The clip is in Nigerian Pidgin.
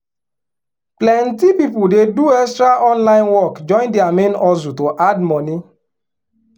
plenty people dey do extra online work join their main hustle to add money.